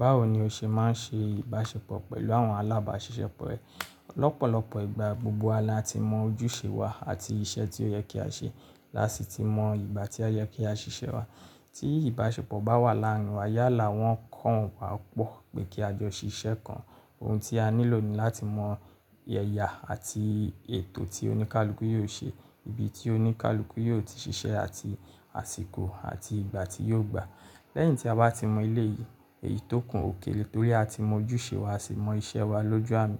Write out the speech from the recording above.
Báwo ni o ṣe máa ń ṣe ìbáṣepọ̀ pẹ̀lú àwọn alábàáṣiṣẹ́ po rẹ? Lọ́pọ̀lọpọ̀ ìgbà, gbogbo wa ni a ti mọ ojúṣe wa àti iṣẹ́ tí ó yẹ kí á ṣe. Lási ti mọ ìgbà tí o yẹ kí á ṣíṣe wa. Tí ìbáṣepọ̀ bá wà láàrin wa, yálà wọn kàn wá pọ̀ pé kí a jọ ṣíṣe kan ohun tí a nílò ni láti mọ̀ ẹ́ya àti ètò tí oníkálukú yóò ṣe, ibi tí oníkálukú yóò ti ṣiṣẹ́ àti àsìkò àti ìgbà tí yóò gbà. Lẹ́yìn tí a bá ti mọ eléyì, èyí tí ó kù ókéré torí a ti mọ ojúṣe wa á sì mọ iṣẹ́ wa lójú àmì.